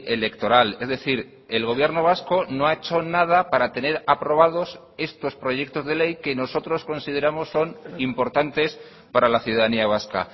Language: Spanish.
electoral es decir el gobierno vasco no ha hecho nada para tener aprobados estos proyectos de ley que nosotros consideramos son importantes para la ciudadanía vasca